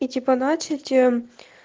и типа начать